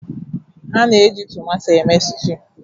A na-eji tomatọ eme stuụ.